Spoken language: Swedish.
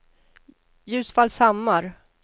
Ljusfallshammar